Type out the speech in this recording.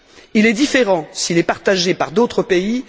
Il est différent s'il est partagé par d'autres pays.